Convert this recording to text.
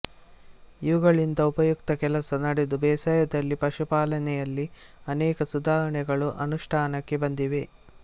ಇವುಗಳಿಂದ ಉಪಯುಕ್ತ ಕೆಲಸ ನಡೆದು ಬೇಸಾಯದಲ್ಲಿ ಪಶುಪಾಲನೆಯಲ್ಲಿ ಅನೇಕ ಸುಧಾರಣೆಗಳು ಅನುಷ್ಠಾನಕ್ಕೆ ಬಂದಿವೆ